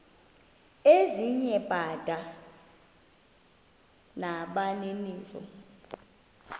ezinye bada nabaninizo